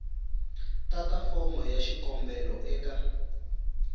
tata fomo ya xikombelo eka